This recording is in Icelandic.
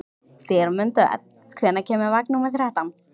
Dýrmundur, hvenær kemur vagn númer þrettán?